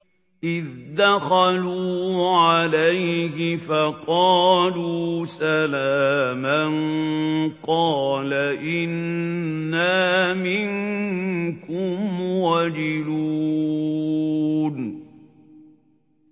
إِذْ دَخَلُوا عَلَيْهِ فَقَالُوا سَلَامًا قَالَ إِنَّا مِنكُمْ وَجِلُونَ